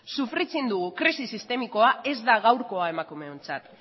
sufritzen dugun krisi sistemikoa ez da gaurkoa emakumeontzat